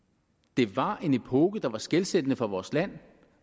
det var en epoke der var skelsættende for vores land